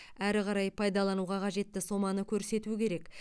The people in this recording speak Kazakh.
әрі қарай пайдалануға қажетті соманы көрсету керек